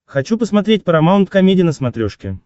хочу посмотреть парамаунт комеди на смотрешке